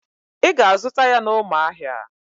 Ị ga-azụta ya n'Ụmụahịa.